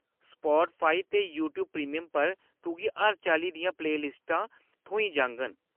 Spotify ते YouTube premium पर तुगी हर चाल्ली दियां प्लेलिस्टां थ्होई जाङन।